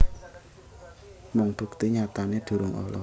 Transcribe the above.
Mung bukti nyatané durung olèh